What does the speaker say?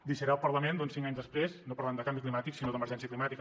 deixaré el parlament cinc anys després no parlant de canvi climàtic sinó d’emergència climàtica